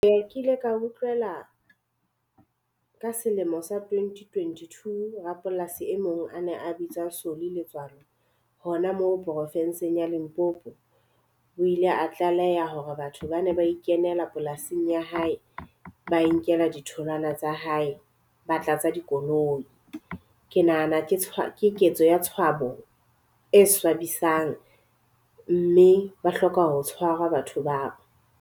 Eya ke ile ka utlwela ka selemo sa twenty twenty-two rapolasi e mong a ne a bitsa Solly Letswalo, hona moo porofenseng ya Limpopo. O ile a tlaleha hore batho ba ne ba ikenela polasing ya hae ba e nkela ditholwana tsa hae, ba tlatsa dikoloi. Ke nahana ke ketso ya tshwabo e swabisang mme ba hloka ho tshwara batho bao.